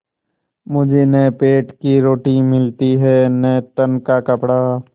मुझे न पेट की रोटी मिलती है न तन का कपड़ा